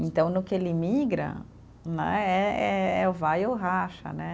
Então, no que ele migra, né eh eh, é o vai ou racha, né?